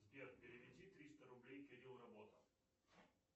сбер переведи триста рублей кирилл работа